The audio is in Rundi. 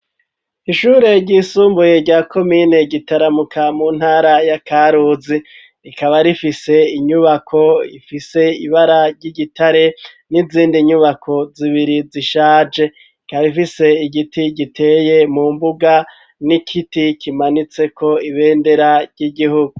Ishure ryisumbuye rya komine Gitaramuka, mu ntara ya Karusi. Rikaba rifise inyubako ifise ibara ry'igitare n'izindi nyubako zibiri zishaje. Rikaba rifise igiti giteye mu mbuga n'igiti kimanitseko ibendera ry'igihugu.